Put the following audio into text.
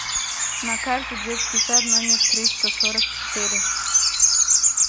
на карте детский сад номер триста сорок четыре